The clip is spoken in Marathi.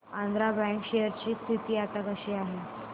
आंध्रा बँक शेअर ची स्थिती आता कशी आहे